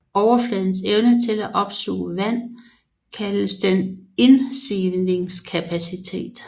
Overfladens evne til at opsuge vand kaldes dens indsivningskapacitet